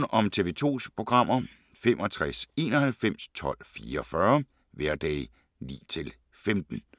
Information om TV 2's programmer: 65 91 12 44, hverdage 9-15.